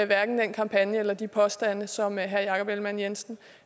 hverken den kampagne eller de påstande som herre jakob ellemann jensen